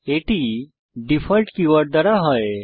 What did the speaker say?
এটি default keyword দ্বারা হয়